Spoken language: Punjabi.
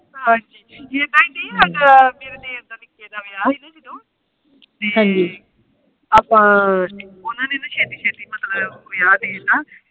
ਜਦੋ ਮੇਰੇ ਦੇਰ ਦਾ ਨਿੱਕੇ ਦਾ ਵਿਆਹ ਸੀ ਨਾ ਉਹਦੋਂ ਅੱਪਾ ਓਹਨਾ ਨੇ ਨਾ ਸੇਤੀ ਸ਼ੇਤੀ ਮਤਲਬ ਵਿਆਹ ਦੇ ਤਾ